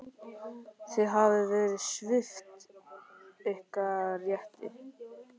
Þið hafið verið svipt ykkar rétti.